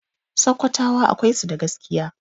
Sakkwatawa akwai su da gaskiya.